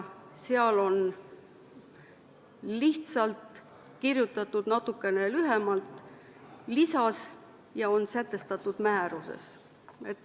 Seal on lihtsalt kirjutatud lisas natukene lühemalt ja on kirjas "sätestatud määras".